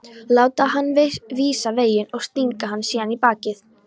Láta hann vísa veginn og stinga hann síðan í bakið?